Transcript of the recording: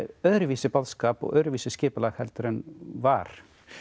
öðruvísi boðskap og öðruvísi skipulag heldur en var